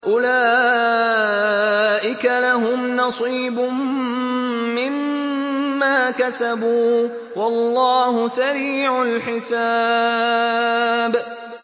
أُولَٰئِكَ لَهُمْ نَصِيبٌ مِّمَّا كَسَبُوا ۚ وَاللَّهُ سَرِيعُ الْحِسَابِ